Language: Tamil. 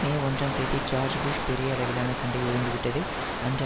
மே ஒன்றாம் தேதி ஜார்ஜ் புஷ் பெரிய அளவிலான சண்டை ஓய்ந்துவிட்டது என்று